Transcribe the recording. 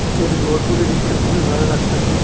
নীসে আসে ঘরগুলি দেইখ্যা খুবই ভালো লাগতাসে।